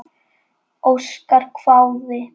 Óskar hváði.